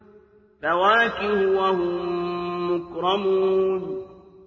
فَوَاكِهُ ۖ وَهُم مُّكْرَمُونَ